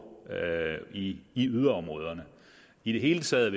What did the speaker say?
i i yderområderne i det hele taget